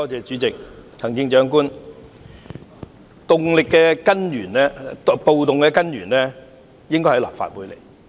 主席、行政長官，暴動的根源應該是在立法會之內。